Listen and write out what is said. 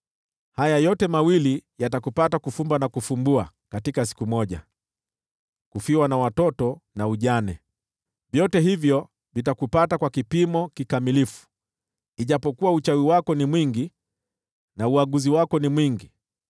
Haya mawili yatakupata, kufumba na kufumbua, katika siku moja: kufiwa na watoto, na ujane. Yote yatakupata kwa kipimo kikamilifu, ijapokuwa uchawi wako ni mwingi, na uaguzi wako ni mwingi.